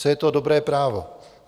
Co je to dobré právo?